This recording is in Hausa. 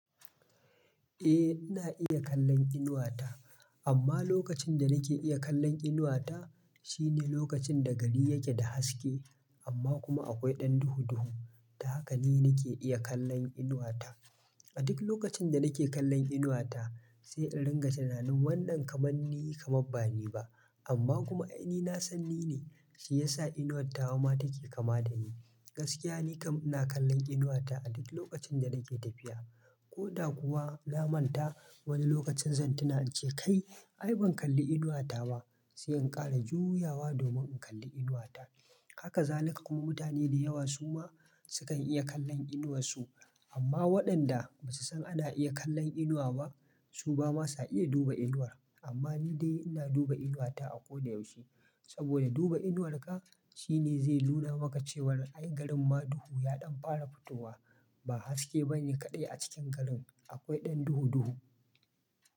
Eh ina iya kallon inuwata amma lokacin da nake iya kallon inuwata shine lokacin da gari yake da haske amma kuma akwai ɗan duhu duhu. Ta haka ne nake iya kallon inuwata. A duk lokacin da nake kallon inuwata sai in ringa tunanin wannan kamanni kamabba ni ba amma kuma ai ni na san ni ne shi yasa inuwattawa ma take kama da ni. Gaskiya ni kam ina kallon inuwata a duk lokacin da nake tafiya. Ko da kuwa na manta wani lokacin zan tuna in ce kai ai ban kalli inuwata ba sai in ƙara juyawa domin in kalli inuwata. Haka zalika kuma mutane da yawa suma sukan iya kallon inuwar su amma waɗanda ba su san ana iya kallon inuwa ba su bama sa iya duba inuwar. Amma ni dai ina duba inuwata a ko da yaushe saboda duba inuwarka shine zai nuna maka cewar ai garin ma duhu ya ɗan fara fitowa ba haske bane kaɗai a cikin garin akwai ɗan duhu duhu.